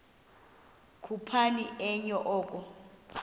khuphoni enye oko